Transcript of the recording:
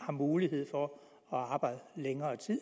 har mulighed for at arbejde længere tid